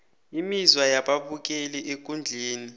imizwa yababukeli ekundleni